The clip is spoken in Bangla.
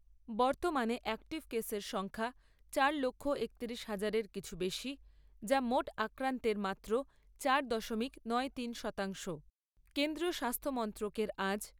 বর্তমানে অ্যাক্টিভ কেসের সংখ্যা চার লক্ষ একতিরিশ হাজারের কিছু বেশি, যা মোট আক্রান্তের মাত্র চার দশমিক তিরানব্বই শতাংশ। কেন্দ্রীয় স্বাস্থ্যমন্ত্রকের আজ